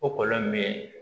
O kɔlɔn min bɛ